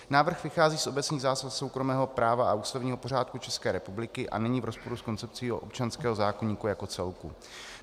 Návrh vychází z obecných zásad soukromého práva a ústavního pořádku České republiky a není v rozporu s koncepcí občanského zákoníku jako celku.